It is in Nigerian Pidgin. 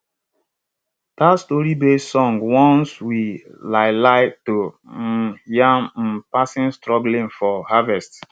dat storybased song warns we lai lai to um ya um pesin struggling for harvest